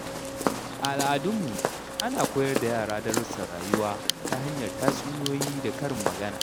A al’adunmu, ana koyar da yara darussan rayuwa ta hanyar tatsuniyoyi da karin magana.